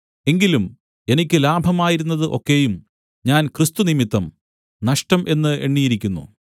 എങ്കിലും എനിക്ക് ലാഭമായിരുന്നത് ഒക്കെയും ഞാൻ ക്രിസ്തുനിമിത്തം നഷ്ടം എന്ന് എണ്ണിയിരിക്കുന്നു